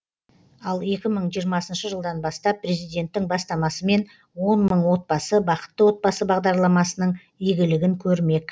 ал екі мың жиырмасыншы жылдан бастап президенттің бастамасымен он мың отбасы бақытты отбасы бағдарламасының игілігін көрмек